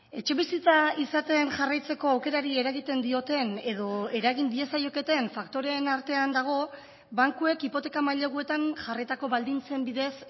etxebizitza izaten jarraitzeko aukerari eragiten dioten edo eragin diezaioketen faktoreen artean dago bankuek hipoteka maileguetan jarritako baldintzen bidez